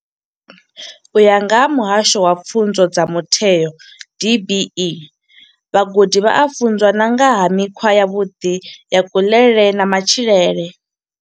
U ya nga vha muhasho wa pfunzo dza mitheo DBE, vhagudi vha a funzwa na nga ha mikhwa yavhuḓi ya kuḽele na matshilele.